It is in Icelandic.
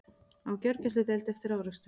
Á gjörgæsludeild eftir árekstur